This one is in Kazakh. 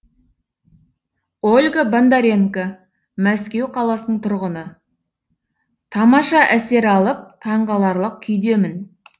ольга бондаренко мәскеу қаласының тұрғыны тамаша әсер алып таңғаларлық күйдемін